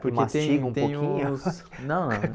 Porque tem o tem os Mastiga um pouquinho? não